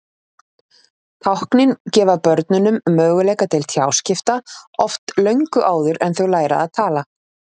Táknin gefa börnunum möguleika til tjáskipta, oft löngu áður en þau læra að tala.